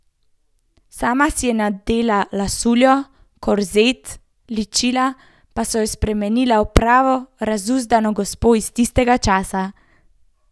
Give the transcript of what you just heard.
Sama si je nadela lasuljo, korzet, ličila pa so jo spremenila v pravo razuzdano gospo iz tistega časa.